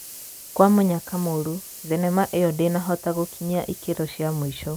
Kwa mũnyaka mũru, thenema ĩyo ndĩnahota gũkinyia ikĩro cia mũico.